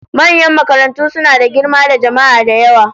Manyan makarantu suna da girma da jama'a da yawa